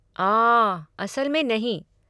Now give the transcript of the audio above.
आह, असल में नहीं।